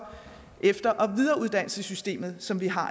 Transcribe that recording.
efter og videreuddannelsessystemet som vi har